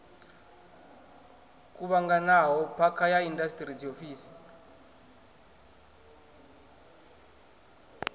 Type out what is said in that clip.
kuvhanganaho phakha ya indasiṱiri dziofisi